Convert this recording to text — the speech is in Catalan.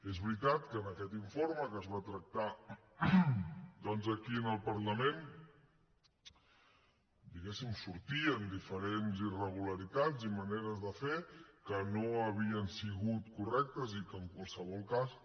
és veritat que en aquest informe que es va tractar aquí al parlament hi sortien diferents irregularitats i maneres de fer que no havien sigut correctes i que en qualsevol cas